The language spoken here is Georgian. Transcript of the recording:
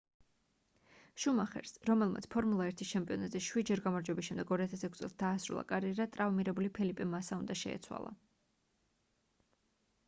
შუმახერს რომელმაც ფორმულა 1-ის ჩემპიონატზე შვიდჯერ გამარჯვების შემდეგ 2006 წელს დაასრულა კარიერა ტრავმირებული ფელიპე მასა უნდა შეეცვალა